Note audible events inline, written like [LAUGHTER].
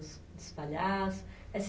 [UNINTELLIGIBLE] Os os palhaço. [UNINTELLIGIBLE]